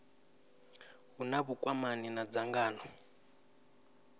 hu na vhukwamani na dzangano